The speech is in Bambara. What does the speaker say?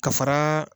Ka fara